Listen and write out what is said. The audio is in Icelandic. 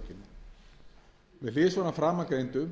hliðsjón af framangreindu